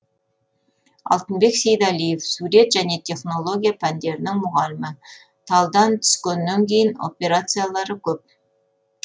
алтынбек сейдалиев сурет және технология пәндерінің мұғалімі талдан түскеннен кейін операциялары көп